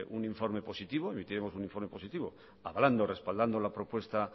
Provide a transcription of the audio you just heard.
un informe positivo emitiremos un informe positivo hablando respaldando la propuesta